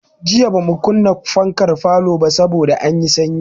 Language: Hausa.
Jiya bamu kunna fankar falo ba saboda anyi sanyi.